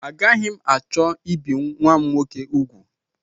Agaghị m achọ ibi nnwa m nwoke ugwu